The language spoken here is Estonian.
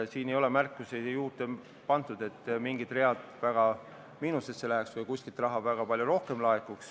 Siin ei ole märkusi juurde pandud, et mingid read läheks väga miinusesse või kuskilt laekuks väga palju rohkem raha.